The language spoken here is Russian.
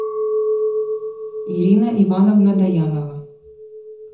ирина ивановна доянова